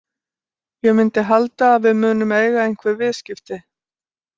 Ég myndi halda að við munum eiga einhver viðskipti.